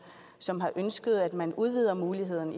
som har ønsket at man udvider muligheden